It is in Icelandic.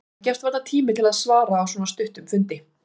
Það gefst varla tími til að svara á svona stuttum fundi.